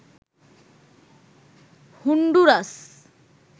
Honduras